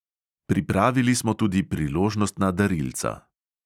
Pripravili smo tudi priložnostna darilca.